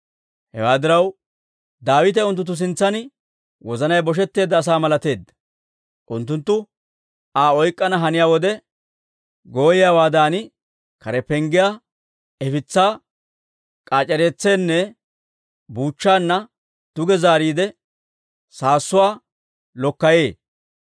Hewaa diraw, Daawite unttunttu sintsaan wozanay boshetteedda asa malateedda; unttunttu Aa oyk'k'ana haniyaa wode, gooyiyaawaadan kare penggiyaa ifitsaa k'aac'eretseenne buuchchaanna duge zaariide saassuwaa lokkayee.